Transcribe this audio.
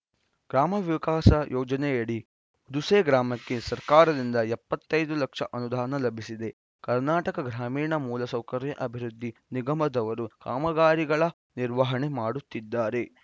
ಗ್ರಾಮ ವಿಕಾಸ ಯೋಜನೆಯಡಿ ದುಸೆ ಗ್ರಾಮಕ್ಕೆ ಸರ್ಕಾರದಿಂದ ಎಪ್ಪತ್ತ್ ಐದು ಲಕ್ಷ ಅನುದಾನ ಲಭಿಸಿದೆ ಕರ್ನಾಟಕ ಗ್ರಾಮೀಣ ಮೂಲ ಸೌಕರ್ಯ ಅಭಿವೃದ್ಧಿ ನಿಗಮದವರು ಕಾಮಗಾರಿಗಳ ನಿರ್ವಹಣೆ ಮಾಡುತ್ತಿದ್ದಾರೆ